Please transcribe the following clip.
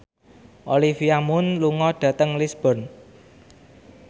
Olivia Munn lunga dhateng Lisburn